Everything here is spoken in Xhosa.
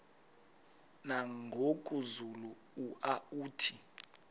nangoku zulu uauthi